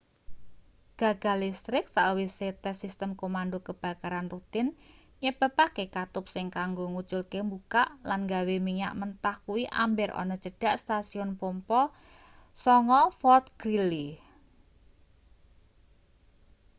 gagal listrik sawise tes sistem komando kebakaran rutin nyebabake katup sing kanggo nguculke mbukak lan gawe minyak mentah kuwi amber ana cedhak stasiun pompa 9 fort greely